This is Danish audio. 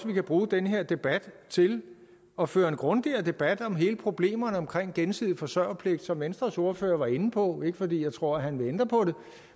vi kan bruge den her debat til at føre en grundigere debat om hele problemstillingen omkring gensidig forsørgerpligt som venstres ordfører var inde på ikke fordi jeg tror at han vil ændre på det